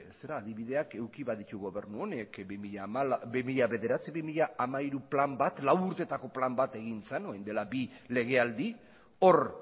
adibideak eduki baditugu gobernu honek bi mila bederatzi bi mila hamairu plan bat lau urtetako plan bat egin zen orain dela bi legealdi hor